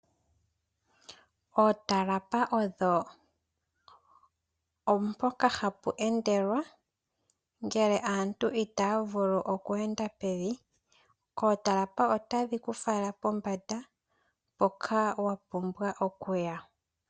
Ootalapa odho mpoka hapu endelwa ngele aantu itaya vulu oku enda pevi . Ootalapa otadhi ku fala pombanda mpoka wa pumbwa okuya